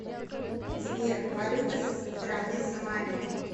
сбер валюта страны сомали